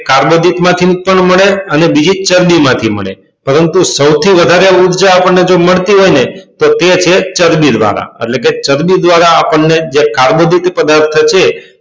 કાર્બોદિત માં થી પણ મળે અને બીજી ચરબી માંથી મળે પરંતુ સૌથી વધારે ઉર્જા આપણને જો મળતી હોય ને તો તે છે ચરબી દ્વારા એટલે કે ચરબી દ્વારા આપણને જે કાર્બોદિત પદાર્થ જે છે